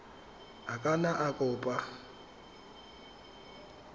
a ka nna a kopa